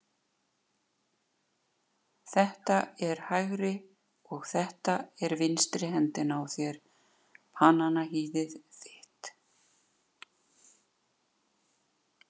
Þetta er hægri og þetta er vinstri hendin á þér, bananahýðið þitt.